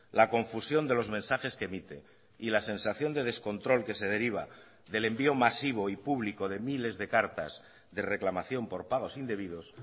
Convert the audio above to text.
la confusión de los mensajes que emite y la sensación de descontrol que se deriva del envío masivo y público de miles de cartas de reclamación por pagos indebidos